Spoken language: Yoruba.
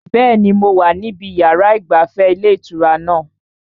Bẹ́ẹ̀ni, mo wà níbi yàrá ìgbafẹ́ ilé ìtura náà